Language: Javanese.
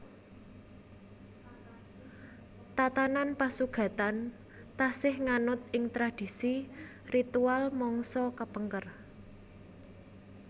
Tatanan pasugatan taksih nganut ing tradisi ritual mangsa kapengker